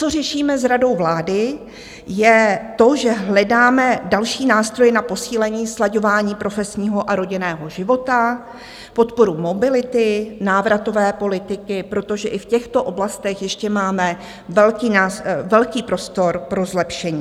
Co řešíme s Radou vlády, je to, že hledáme další nástroje na posílení slaďování profesního a rodinného života, podporu mobility, návratové politiky, protože i v těchto oblastech ještě máme velký prostor pro zlepšení.